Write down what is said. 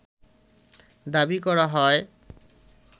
দাবি করা হয়